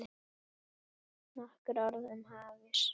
Nokkur orð um hafís